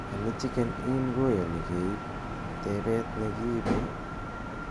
anii chicken inn koyoni keiib tebeet negiibe ii